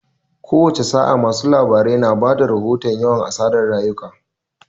Kowace sa'a, masu labarai na ba da rahoton yawan asarar rayuka.